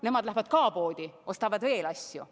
Nemad lähevad ka poodi, ostavad veel asju.